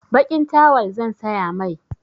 Baƙin tawal zan saya mai.